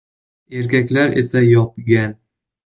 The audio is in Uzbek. Erkaklar esa yopgan.